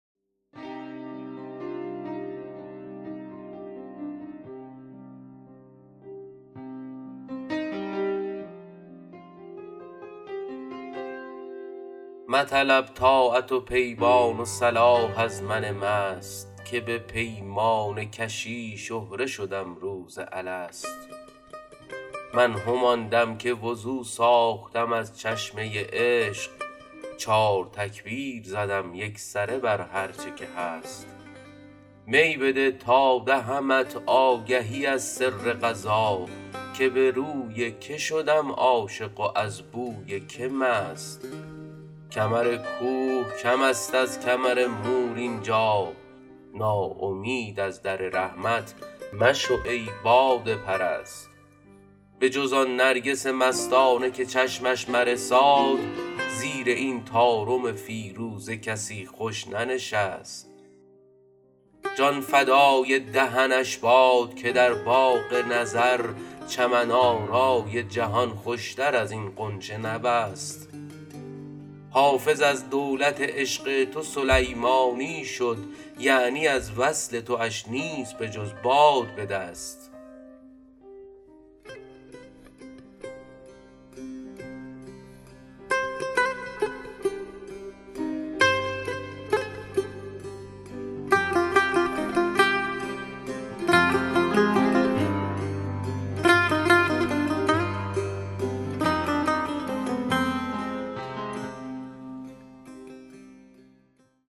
مطلب طاعت و پیمان و صلاح از من مست که به پیمانه کشی شهره شدم روز الست من همان دم که وضو ساختم از چشمه عشق چار تکبیر زدم یکسره بر هرچه که هست می بده تا دهمت آگهی از سر قضا که به روی که شدم عاشق و از بوی که مست کمر کوه کم است از کمر مور اینجا ناامید از در رحمت مشو ای باده پرست بجز آن نرگس مستانه که چشمش مرساد زیر این طارم فیروزه کسی خوش ننشست جان فدای دهنش باد که در باغ نظر چمن آرای جهان خوشتر از این غنچه نبست حافظ از دولت عشق تو سلیمانی شد یعنی از وصل تواش نیست بجز باد به دست